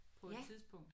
Ja